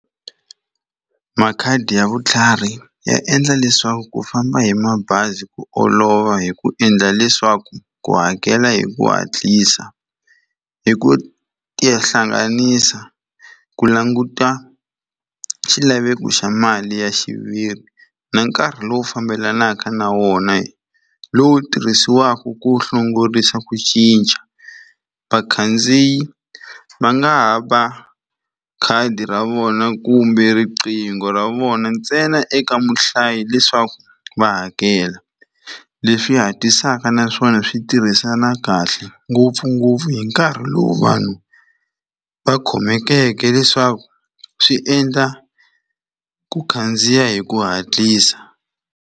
Makhadi ya Vutlhari ya endla leswaku ku famba hi mabazi hi ku olova hi ku endla leswaku u hakela hi ku hatlisa. Hi ku tihlanganisa ku languta xilaveko xa mali ya xiviri na nkarhi lowu fambelanaka na wona lowu tirhisiwaka ku hlongorisa ku cinca. Vakhandziyi va nga ha va khadi ra vona kumbe riqingho ra vona ntsena eka muhlayi leswaku va hakela, leswi hatlisaka naswona swi tirhisana kahle ngopfungopfu hi nkarhi lowu vanhu va khomeke leswaku swi endla ku khandziya hi ku hatlisa.